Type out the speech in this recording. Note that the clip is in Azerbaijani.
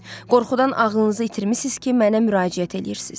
Qorxudan ağlınızı itirmisiz ki, mənə müraciət eləyirsiz.